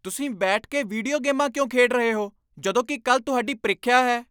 ਤੁਸੀਂ ਬੈਠ ਕੇ ਵੀਡੀਓ ਗੇਮਾਂ ਕਿਉਂ ਖੇਡ ਰਹੇ ਹੋ? ਜਦੋਂ ਕਿ ਕੱਲ੍ਹ ਤੁਹਾਡੀ ਪ੍ਰੀਖਿਆ ਹੈ।